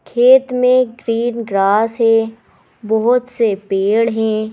खेत में green grass है बहुत से पेड़ हैं।